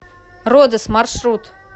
родос маршрут